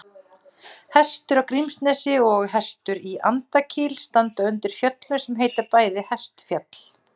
Hestur í Grímsnesi og Hestur í Andakíl standa undir fjöllum sem bæði heita Hestfjall.